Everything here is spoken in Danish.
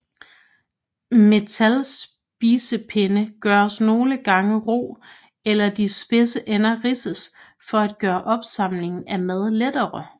Metalspisepinde gøres nogle gange ru eller de spidse ender ridses for at gøre opsamlingen af mad lettere